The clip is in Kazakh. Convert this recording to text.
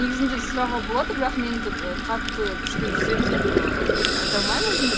негізінде сұрауға болады бірақ мен этот қатты күшті жүзем деп ыыы айта алмаймын өзімді